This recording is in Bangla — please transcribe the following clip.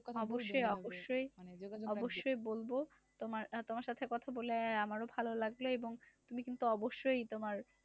অবশ্যই অবশ্যই অবশ্যই বলব তোমার আহ তোমার সাথে কথা বলে আমারও ভালো লাগলো এবং তুমি কিন্তু অবশ্যই তোমার